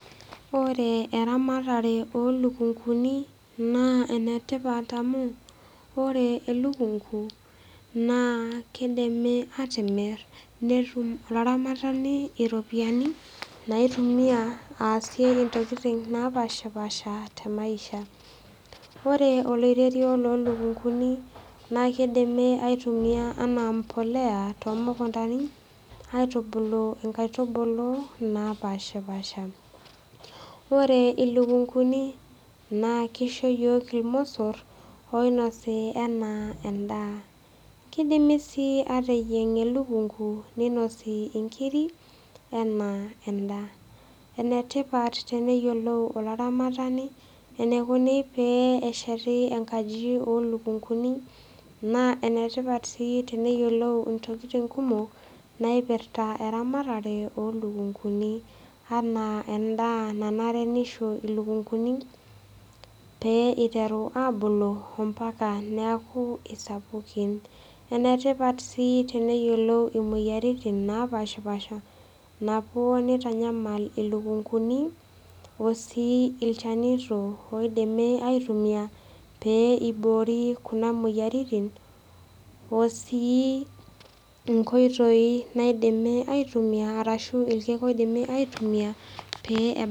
Ore eramatare oo ilukunguni naa ene tipat amu, ore elukungu naa keidimi atimir, netum olaramatani iropiani naitumia aasie intokitin napaashipaasha te maisha. Ore oloirerio o lukunguni naa keidimi aitumia anaa embolea too mukuntani aitubulu inkaitubulu napaashipaasha. Ore ilukunguni naa keisho iyiok ilmosor oinosi anaa endaa. Keidimi sii ateyieng' elukungu, neinosi inkiri anaa endaa. Ene tipat teneyiolou olaramatani eneikuni pee esheti enkaji oo ilukunguni , naa enetipat sii teneyiolou intokitin kumok, naipirita eramatare oo ilukunguni anaa endaa nanare neisho ilukunguni pee eiterua aabulu emetaa neaku isupukin. Ene tipat sii teneyiolou imoyaritin napaashipaasha napuo neitanyamal ilukunguni o sii ilchanito oidimi aitumia pee eiboori Kuna moyiaritin o sii inkoitoi naidimi aitumia o nkoitoi naidimi aitumia pee ebaki.